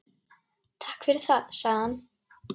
Takk fyrir það- sagði hann.